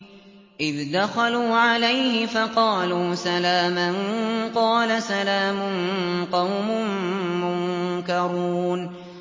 إِذْ دَخَلُوا عَلَيْهِ فَقَالُوا سَلَامًا ۖ قَالَ سَلَامٌ قَوْمٌ مُّنكَرُونَ